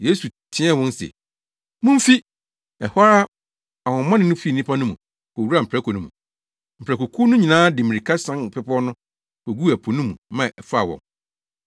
Yesu teɛɛ wɔn se, “Mumfi!” Ɛhɔ ara ahonhommɔne no fii nnipa no mu, kowuraa mprako no mu. Mprakokuw no nyinaa de mmirika sian bepɔw no, koguu ɛpo no mu ma ɛfaa wɔn.